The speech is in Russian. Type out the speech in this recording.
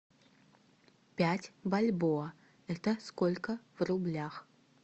пять бальбоа это сколько в рублях